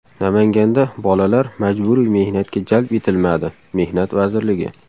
Namanganda bolalar majburiy mehnatga jalb etilmadi Mehnat vazirligi.